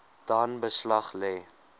dan beslag lê